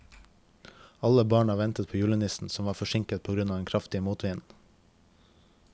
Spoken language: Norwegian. Alle barna ventet på julenissen, som var forsinket på grunn av den kraftige motvinden.